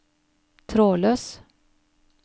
trådløs